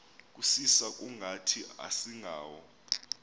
kusisa kungathi asingawo